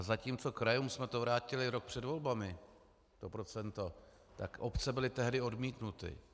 A zatímco krajům jsme to vrátili rok před volbami, to procento, tak obce byly tehdy odmítnuty.